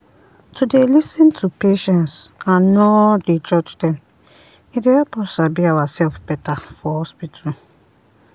to dey lis ten to patience and nor dey judge them e dey help us sabi ourself better for hospital.